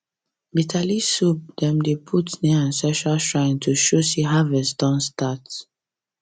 bitter leaf soup dem dey put near ancestral sign to show say harvest don start